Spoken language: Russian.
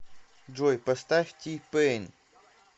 джой поставь ти пэйн